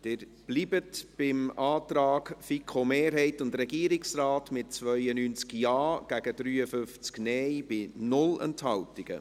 Sie bleiben beim Antrag der FiKo-Mehrheit und des Regierungsrates, mit 92 Ja- zu 53 Nein-Stimmen bei 0 Enthaltungen.